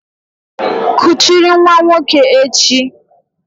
Kuchiri nwa nwoke echi!